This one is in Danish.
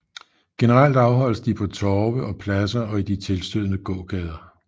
Generelt afholdes de på torve og pladser og i de tilstødende gågader